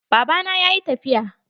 Baba na yayi tafiya.